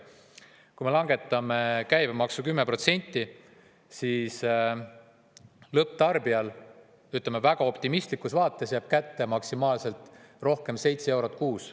Kui me langetame käibemaksu 10%, siis lõpptarbijale jääb väga optimistlikus vaates rohkem kätte maksimaalselt 7 eurot kuus.